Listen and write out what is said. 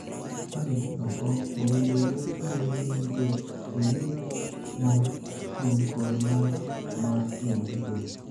Ka idhi oko, owinjore thuolo duto iwir mor chieng' kod mor mar pien dhok.